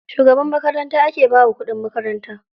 Shugaban makaranta ake bawa kuɗin makaranta.